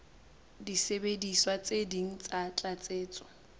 disebediswa tse ding tsa tlatsetso